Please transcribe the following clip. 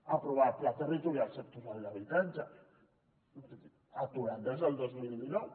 aprovar el pla territorial sectorial d’habitatge aturat des del dos mil dinou